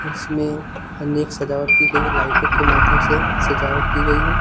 उसमे अनेक सजावट की गई लाइटों के माध्यम से सजावट की गई है।